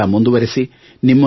ಸಮರ ಮುಂದುವರೆಸಿ